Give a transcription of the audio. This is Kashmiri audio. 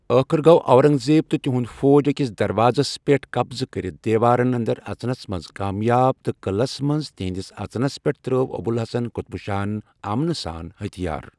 ٲخ‏ٕر، گوٚو اورنگزیب تہٕ تہنٛد فوج أکِس دروازس پٮ۪ٹھ قبضہٕ کٔرتھ دیوارن اندر اژنَس منٛز کامیاب تہٕ قٕلس منٛز تہنٛدس اژنس پیٹھ تراوۍ ابوالحسن قطب شاہَن امَنہٕ سان ہتھِیار